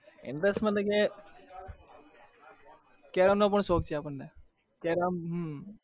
carrom ન પણ શોક છે તમને carrom